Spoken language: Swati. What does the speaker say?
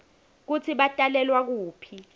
kutsi batalelwa kuphi